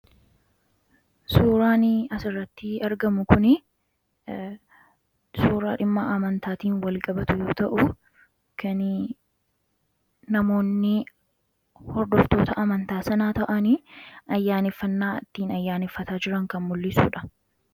Suuraani asirratti argamu kun suuraa dhimmaa amantaatiin wal qabatu yoo ta'u kan namoonni hordoftoota amantaa sanaa ta'anii ayyaaniffannaa ittiin ayyaaniffataa jiran kan mul'isuudha.